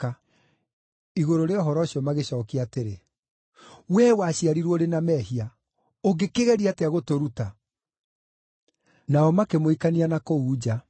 Igũrũ rĩa ũhoro ũcio magĩcookia atĩrĩ, “Wee waciarirwo ũrĩ na mehia. Ũngĩkĩgeria atĩa gũtũruta!” Nao makĩmũikania na kũu nja.